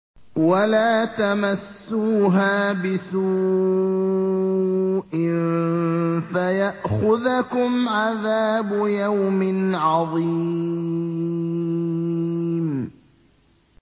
وَلَا تَمَسُّوهَا بِسُوءٍ فَيَأْخُذَكُمْ عَذَابُ يَوْمٍ عَظِيمٍ